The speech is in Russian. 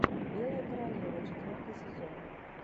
белая королева четвертый сезон